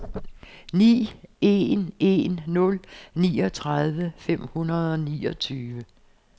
ni en en nul niogtredive fem hundrede og niogtyve